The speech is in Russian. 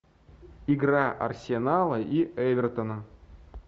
игра арсенала и эвертона